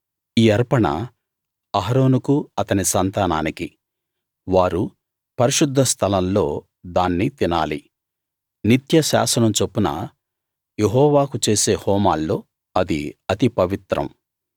ఈ అర్పణ అహరోనుకు అతని సంతానానికి వారు పరిశుద్ధస్థలం లో దాన్ని తినాలి నిత్య శాసనం చొప్పున యెహోవాకు చేసే హోమాల్లో అది అతి పవిత్రం